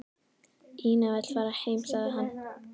Ína vill fara heim, sagði hann.